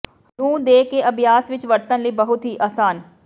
ਨੂੰ ਦੇ ਕੇ ਅਭਿਆਸ ਵਿੱਚ ਵਰਤਣ ਲਈ ਬਹੁਤ ਹੀ ਆਸਾਨ